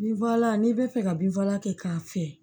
Binfagalan n'i bɛ fɛ ka binfagalan kɛ k'a fiyɛ